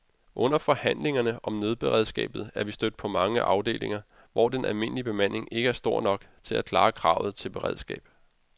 Under forhandlingerne om nødberedskabet er vi stødt på mange afdelinger, hvor den almindelige bemanding ikke er stor nok til at klare kravet til beredskab.